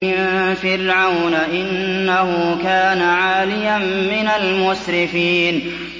مِن فِرْعَوْنَ ۚ إِنَّهُ كَانَ عَالِيًا مِّنَ الْمُسْرِفِينَ